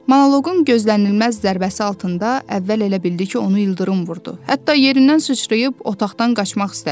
Monoqonun gözlənilməz zərbəsi altında əvvəl elə bildi ki, onu ildırım vurdu, hətta yerindən sıçrayıb otaqdan qaçmaq istədi.